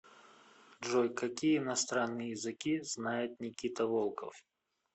джой какие иностранные языки знает никита волков